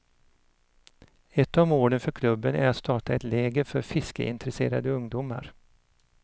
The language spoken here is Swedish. Ett av målen för klubben är att starta ett läger för fiskeintresserade ungdomar.